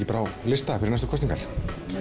bara á lista fyrir næstu kosningar